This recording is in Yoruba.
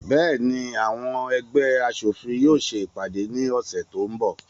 Bẹ́ẹ̀ni, àwọn ẹgbẹ́ aṣòfin yóò se ìpàdé ní ọ̀sẹ̀ tó ń bọ̀.